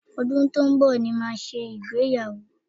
Ọdún tó ń bọ̀ ni màá ṣe ìgbéyàwó